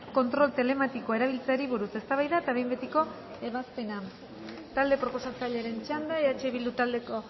kontrol telematikoa erabiltzeari buruz eztabaida eta behin betiko ebazpena talde proposatzailearen txanda eh bildu taldeko